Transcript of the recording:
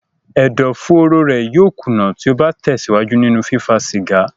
Ẹ̀dó-fóóró rẹ̀ yóò kùnà tí ó bá tẹ̀síwájú nínú fífá cìgá.